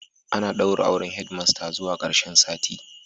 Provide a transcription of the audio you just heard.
Ana daura auren Head master zuwa karshen sati